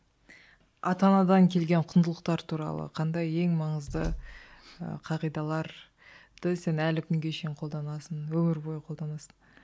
ата анадан келген құндылықтар туралы қандай ең маңызды ыыы қағидаларды сен әлі күнге шейін қолданасың өмір бойы қолданасың